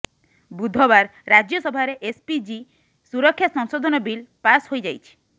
ବୁଧବାର ରାଜ୍ୟସଭାରେ ଏସ୍ପିଜି ସୁରକ୍ଷା ସଂଶୋଧନ ବିଲ୍ ପାସ୍ ହୋଇଯାଇଛି